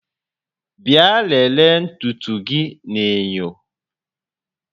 Bịa lelee ntutu gị n'enyo